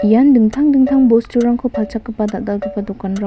ian dingtang dingtang bosturangko palchakgipa dokanrang--